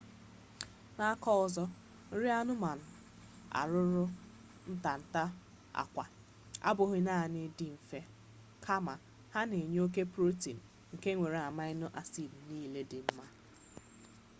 n’aka ọzọ nri anụmanụ arụrụ ntanta akwa abughi naani di nfe kama ha na-enye oke protein nke nwere amino acid nile di nma